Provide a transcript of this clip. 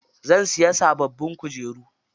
Zan siya sababbin kujeru.